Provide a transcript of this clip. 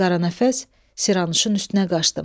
Qaranəfəs Siranuşun üstünə qışqırdı.